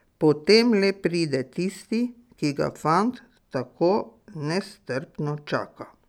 Potem le pride tisti, ki ga fant tako nestrpno čaka.